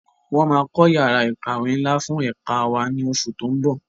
Wọn máa kọ́ yàrá ìkàwé ńlá fún ẹ̀ka wá ní oṣù tó ń bọ̀.